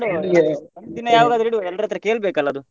ಯಾವಗಾದ್ರೂ ಇಡುವ ಎಲ್ಲರತ್ರ ಕೇಳ್ಬೇಕಲ್ಲ ಅದು.